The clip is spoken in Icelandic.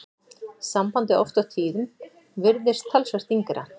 Sambandið oft á tíðum virðist talsvert yngra.